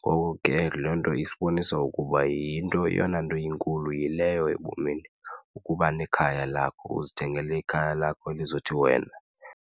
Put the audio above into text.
Ngoko ke loo nto isibonisa ukuba eyona nto inkulu yileyo ebomini ukuba nekhaya lakho uzithengele ikhaya lakho elithi wena.